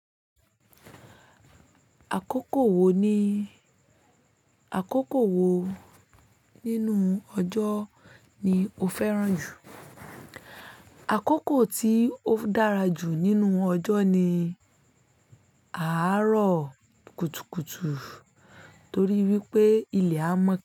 Àkókò wo ní, àkókò wo nínú ọjọ́ ni o fẹ́ràn jù? Àkókò tí o dára jù nínú ọjọ́ ni àárọ̀ kùtùkùtù torí wípé ilẹ̀ á mọ́ ká.